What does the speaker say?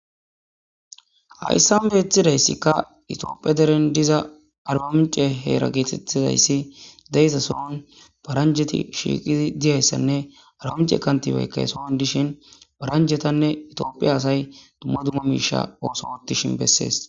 Hayissan betizayissikka Ethiopia derenni diza arbamincce hera getettizayiss de'iza sohonni paranjetti shiqqiddi dizayissanne arbamincce kantibayikka he sohon dishshin paranjetanne Ethiopia asayi dumma dumma oththuwa oththishinne besses.